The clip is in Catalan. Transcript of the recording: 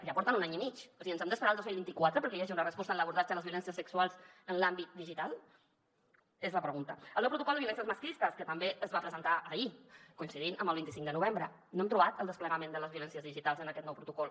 ja porten un any i mig o sigui ens hem d’esperar al dos mil vint quatre perquè hi hagi una resposta en l’abordatge de les violències sexuals en l’àmbit digital és la pregunta el nou protocol de violències masclistes que també es va presentar ahir coincidint amb el vint cinc de novembre no hem trobat el desplegament de les violències digitals en aquest nou protocol